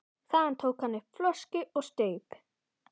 Þaðan tók hann upp flösku og staup.